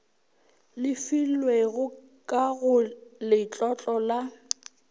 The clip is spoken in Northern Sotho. lefilwego ka go letlotlo la